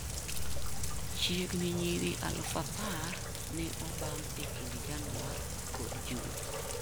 Chiegni nyiri 10,000 ne obamb e kind Januar kod Jun.